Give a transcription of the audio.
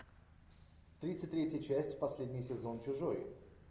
тридцать третья часть последний сезон чужой